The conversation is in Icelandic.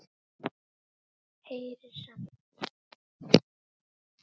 Heyrir samt.